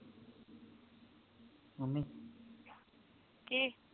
ਕੀ